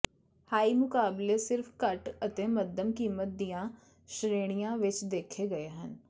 high ਮੁਕਾਬਲੇ ਸਿਰਫ ਘੱਟ ਅਤੇ ਮੱਧਮ ਕੀਮਤ ਦੀਆਂ ਸ਼੍ਰੇਣੀਆਂ ਵਿਚ ਦੇਖੇ ਗਏ ਹਨ